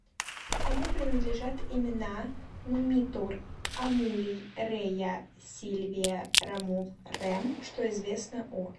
кому принадлежат имена нумитор амулий рея сильвия ромул рем что известно о